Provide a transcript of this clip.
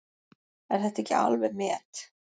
Er þetta ekki alveg met!